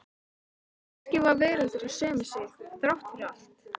Og kannski var veröldin söm við sig, þrátt fyrir allt.